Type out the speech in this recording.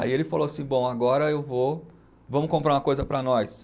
Aí ele falou assim, bom, agora eu vou, vamos comprar uma coisa para nós.